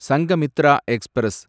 Sanghamitra express